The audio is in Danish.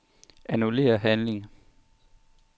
Annullér handling.